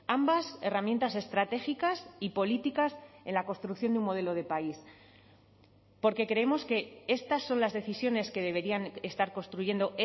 ambas herramientas estratégicas y políticas en la construcción de un modelo de país porque creemos que estas son las decisiones que deberían estar construyendo